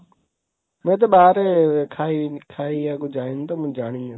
ମୁଁ ଏତେ ବାହାରେ ଖାଇବାକୁ ଯାଏନି ତ ମୁଁ ଜାଣିନି।